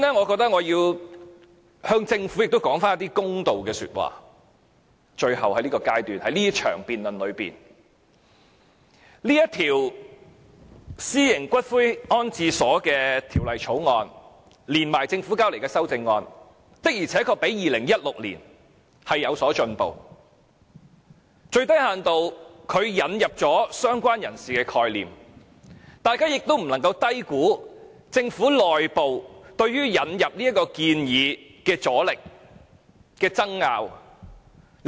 主席，在這場辯論的最後階段，首先我要為政府說句公道說話，《私營骨灰安置所條例草案》和政府提交的修正案，的確較2016年有所進步，最低限度引入了"相關人士"的概念，大家不應低估政府內部對於引入此建議的阻力及爭拗。